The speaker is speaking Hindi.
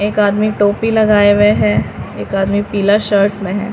एक आदमी टोपी लगाए हुए है एक आदमी पीला शर्ट में है।